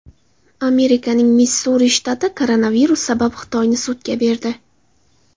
Amerikaning Missuri shtati koronavirus sabab Xitoyni sudga berdi .